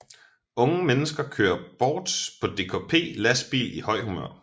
Unge mennesker kører bort på DKP lastbil i højt humør